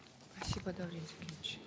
спасибо даурен зекенович